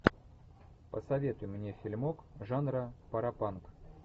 посоветуй мне фильмок жанра паропанк